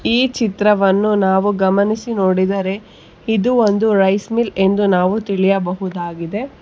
ಈ ಚಿತ್ರವನ್ನು ನಾವು ಗಮನಿಸಿ ನೋಡಿದರೆ ಇದು ಒಂದು ರೈಸ್ ಮಿಲ್ ಎಂದು ನಾವು ತಿಳಿಯಬಹುದಾಗಿದೆ.